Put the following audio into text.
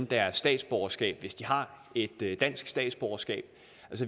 deres statsborgerskab hvis de har et dansk statsborgerskab